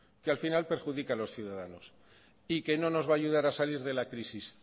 que al final perjudica a los ciudadanos y que no nos va a ayudar a salir de la crisis